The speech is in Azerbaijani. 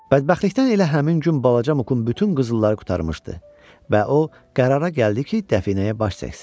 Bədbəxtlikdən elə həmin gün balaca Mukun bütün qızılları qurtarmışdı və o qərara gəldi ki, dəfinəyə baş çəksin.